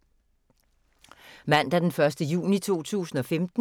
Mandag d. 1. juni 2015